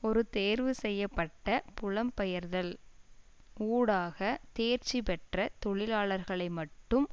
ஒரு தேர்வு செய்ய பட்ட புலம்பெயர்தல் ஊடாக தேர்ச்சிபெற்ற தொழிலாளர்களை மட்டும்